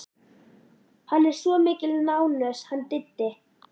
Hann er svo mikil nánös hann Diddi.